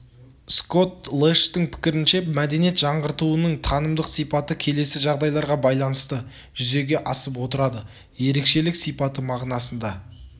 скотт лэштің пікірінше мәдениет жаңғыртуының танымдық сипаты келесі жағдайларға байланысты жүзеге асып отырады ерекшелік сипаты мағынасында